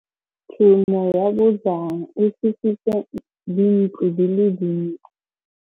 Tshumô ya bojang e fisitse dintlo di le dintsi.